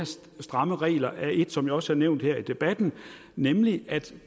strammere regler er et som jeg også har nævnt her i debatten nemlig at